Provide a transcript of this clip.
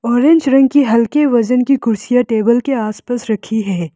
Orange रंग की हल्के वजन की कुर्सियां टेबल के आसपास रखी है।